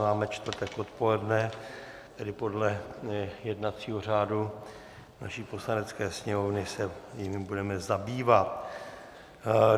Máme čtvrtek odpoledne, tedy podle jednacího řádu naší Poslanecké sněmovny se jimi budeme zabývat.